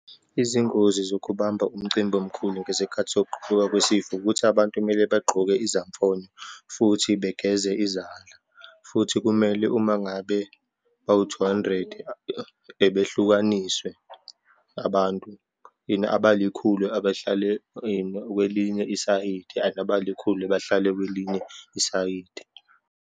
Izingozi zokubamba umcimbi omkhulu ngezikhathi sokuguquka kwesifo, ukuthi abantu kumele bagqoke izamfonyo, futhi begeze izandla. Futhi kumele uma ngabe bawu-two hundred behlukaniswe abantu and abalikhulu abehlale kwelinye isayidi and abalikhulu bahlale kwelinye isayidi.